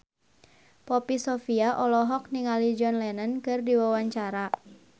Poppy Sovia olohok ningali John Lennon keur diwawancara